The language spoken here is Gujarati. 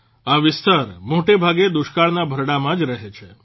આ વિસ્તાર મોટેભાગે દુષ્કાળના ભરડામાં જ રહે છે